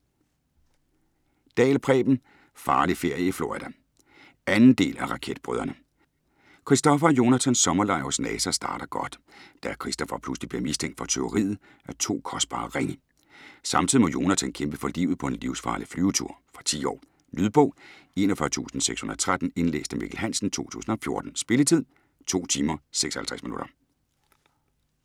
Dahl, Preben: Farlig ferie i Florida 2. del af Raketbrødrene. Kristoffer og Jonathans sommerlejr hos NASA starter godt, da Kristoffer pludselig bliver mistænkt for tyveriet af to kostbare ringe. Samtidig må Jonathan kæmpe for livet på en livsfarlig flyvetur. Fra 10 år. Lydbog 41613 Indlæst af Mikkel Hansen, 2014. Spilletid: 2 timer, 56 minutter.